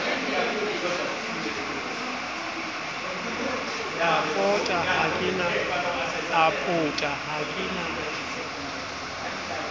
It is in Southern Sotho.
a pota ha ke na